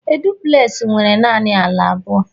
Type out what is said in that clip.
a duplex nwere naanị ala abụọ